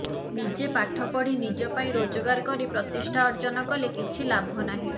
ନିଜ ପାଠ ପଢ଼ି ନିଜ ପାଇଁ ରୋଜଗାର କରି ପ୍ରତିଷ୍ଠା ଅର୍ଜନ କଲେ କିଛି ଲାଭ ନାହିଁ